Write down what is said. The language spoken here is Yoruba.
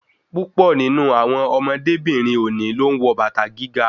Púpọ̀ nínú àwọn ọmọdébìnrin òní ló ń wọ bàtà gíga